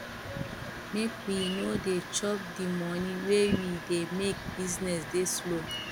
make we no dey chop dey moni wey we dey make business dey slow